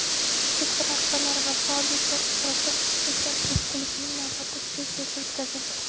sektor rahbarlari va faol yoshlar ishtirokida "Yoshlar press-klubi"ning navbatdagi sessiyasi o‘tkazildi.